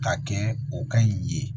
Ka kɛ o ka ɲi ye